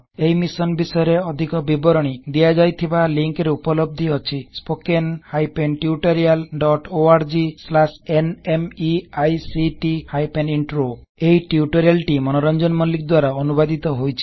ଏହି ମିଶନ୍ ବିଷୟରେ ଅଧିକ ବିବରଣୀ ଦିଆଯାଇଥିବା ଲିଂକ୍ ରେ ଉପଲବ୍ଧ ଅଛି httpspoken tutorialorgNMEICT Intro ଏହି ଟ୍ୟୁଟୋରିଆଲ ଟି ମନୋରଜଂନ ମଲ୍ଲିକ୍ ଦ୍ବାରା ଅନୁବାଦିତ ହୋଇଛି